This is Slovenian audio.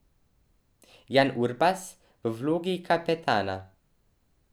Jan Urbas v vlogi kapetana?